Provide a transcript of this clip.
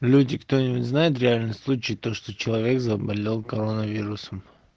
люди кто-нибудь знает реальный случай то что человек заболел коронавирусом